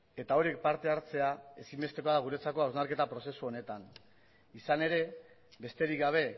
eta horiek parte hartzea ezinbestekoa da guretzako hausnarketa prozesu honetan izan ere besterik gabe